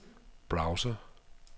browser